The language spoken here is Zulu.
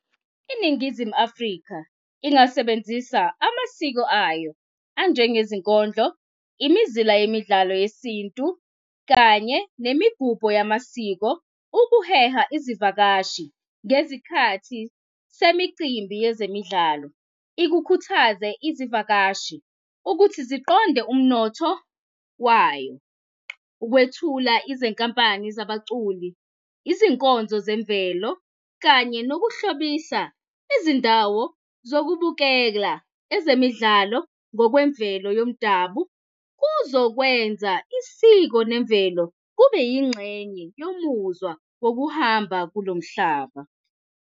INingizimu Afrika ingasebenzisa amasiko ayo anjenge zinkondlo, imizila yemidlalo yesintu kanye, nemigubho yamasiko ukuheha izivakashi ngezikhathi semicimbi yezemidlalo, ikukhuthaze izivakashi ukuthi ziqonde umnotho wayo. Ukwethula izinkampani zabaculi, izinkonzo zemvelo kanye zokuhlobisa izindawo zokubukela ezemidlalo ngokwemvelo yomdabu, kuzokwenza isiko nemvelo kube yingxenye yomuzwa wokuhamba kulo mhlaba.